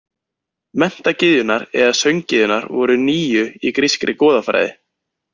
Menntagyðjurnar eða sönggyðjurnar voru níu í grískri goðafræði.